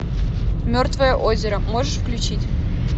мертвое озеро можешь включить